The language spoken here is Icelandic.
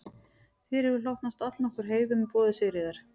Þér hefur hlotnast allnokkur heiður með boði Sigríðar